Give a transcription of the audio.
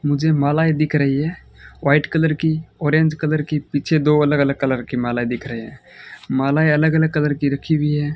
मुझे मालाएं दिख रही है व्हाइट कलर की ऑरेंज कलर की पीछे दो अलग अलग कलर की मालाएं दिख रहे है मालाएं अलग अलग कलर की रखी हुई है।